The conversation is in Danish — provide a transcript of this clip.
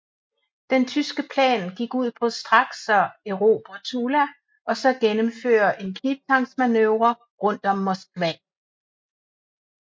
Den tyske plan gik ud på straks at erobre Tula og så gennemføre en knibtangsmanøvre rundt om Moskva